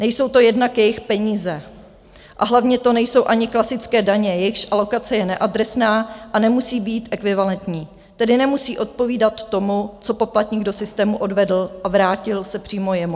Nejsou to jednak jejich peníze a hlavně to nejsou ani klasické daně, jejichž alokace je neadresná a nemusí být ekvivalentní, tedy nemusí odpovídat tomu, co poplatník do systému odvedl a vrátil se přímo jemu.